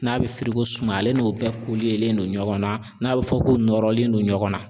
N'a bɛ suma ale n'o bɛɛ len don ɲɔgɔn na n'a bɛ fɔ k'u nɔrɔlen don ɲɔgɔn na